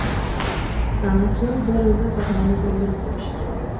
San’atkor bir o‘zi sahnani to‘ldirib turishi kerak.